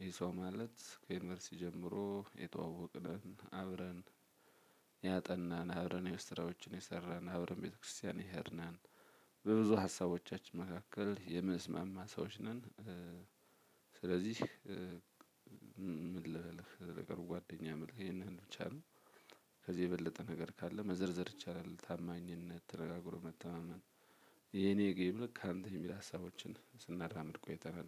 ይሄ ሰው ማለት ከዩኒቨርሲቲ ጀምሮ የተዋወቅን ነን አብረን ያጠናን አብረን የቤት ስራዎችን የሰራን አብረን ቤተክርስቲያን የሄድን ነን። በብዙ ሀሳቦቻችን መካከል የመስምንስማማ ሰዎች ነን። ስለዚህ ምን ልበልህ ለቅርብ ጓደኛ ማለት ቢቻል። ከዚህ የበለጠ ነገር ካለ መዘርዘር ይቻላል ታማኝነት ተረጋግሮ መተማመን። የኔ ከሚል ከአንተ የሚል ሀሳቦችን ስናራምድ ቆይናል።